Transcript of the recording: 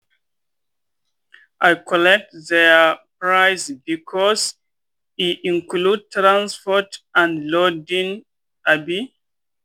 i collect their price because e include transport and loading. um